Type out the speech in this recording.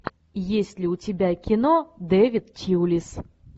есть ли у тебя кино дэвид тьюлис